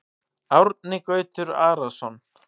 Árni Gautur Arason